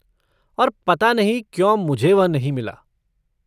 और पता नहीं क्यों मुझे वह नहीं मिला।